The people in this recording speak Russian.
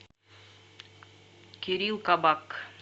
кирилл кабак